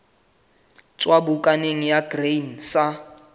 tswa bukaneng ya grain sa